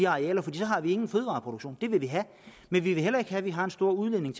arealer for så har vi ingen fødevareproduktion og det vil vi have men vi vil heller ikke have at vi har en stor udledning